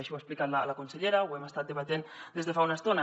així ho ha explicat la consellera ho hem estat debatent des de fa una estona